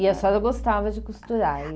E a senhora gostava de costurar?